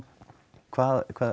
hvað